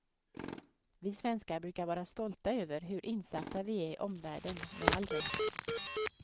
Vi svenskar brukar vara stolta över hur insatta vi är i omvärlden, med all rätt.